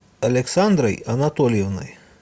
александрой анатольевной